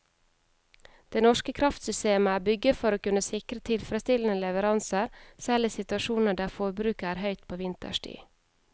Det norske kraftsystemet er bygget for å kunne sikre tilfredsstillende leveranser selv i situasjoner der forbruket er høyt på vinterstid.